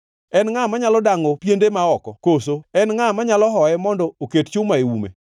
En ngʼa manyalo dangʼo piende ma oko? Koso en ngʼa manyalo hoye mondo oket chuma e ume?